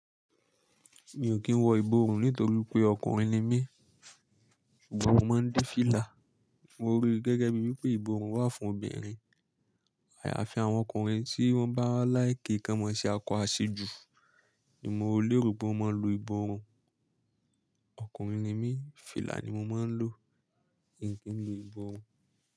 Mi ò kí ń wọ ìborùn nítorí pé ọkùnrin ni mí, ṣùgbọ́n mo máa ń de fìlà. Mo rí gẹ́gẹ́ bíi wipé ìborùn wà fún obìnrin. Àyàfi àwọn ọkùnrin tí wọ́n bá like kan mọ́ ṣe akọ áṣejù, ni mo lérò pó wọn máa ń lo ìborùn. Ọkùnrin ni mí, fìlà ni mo máa ń lò, in kì í n lo ìborùn.